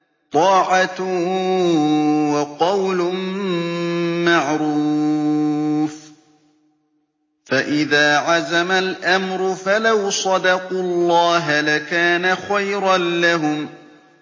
طَاعَةٌ وَقَوْلٌ مَّعْرُوفٌ ۚ فَإِذَا عَزَمَ الْأَمْرُ فَلَوْ صَدَقُوا اللَّهَ لَكَانَ خَيْرًا لَّهُمْ